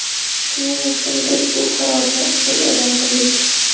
Shuning uchun biz bu qarorni bugun e’lon qildik.